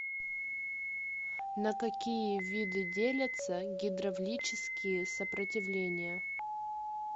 на какие виды делятся гидравлические сопротивления